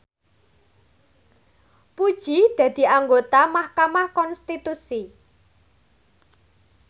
Puji dadi anggota mahkamah konstitusi